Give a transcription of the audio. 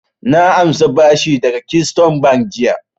Na ansa bashi daga keystone bank jiya